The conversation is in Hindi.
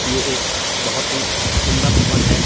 ये एख बहोत ही सुंदर भवन है।